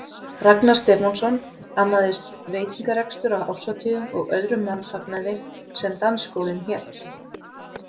Ragnar Stefánsson, annaðist veitingarekstur á árshátíðum og öðrum mannfagnaði sem dansskólinn hélt.